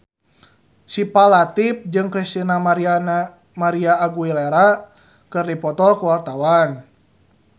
Syifa Latief jeung Christina María Aguilera keur dipoto ku wartawan